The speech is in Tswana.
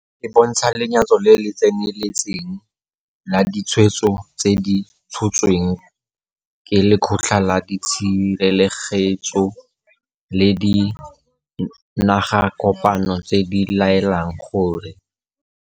E bontsha lenyatso le le tseneletseng la ditshwetso tse di tshotsweng ke Lekgotla la Tshirelegetso la Dinagakopano tse di laelang gore.